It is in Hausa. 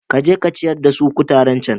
Ka je ku ciyar da su kutaren cen.